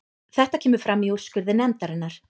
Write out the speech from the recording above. Þetta kemur fram í úrskurði nefndarinnar